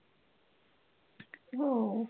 हो